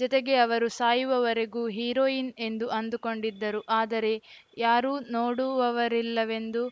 ಜತೆಗೆ ಅವರು ಸಾಯವವರೆಗೂ ಹಿರೋಯಿನ್‌ ಎಂದು ಅಂದು ಕೊಂಡಿದ್ದರು ಆದರೆ ಯಾರೂ ನೋಡುವವರಿಲ್ಲವೆಂದು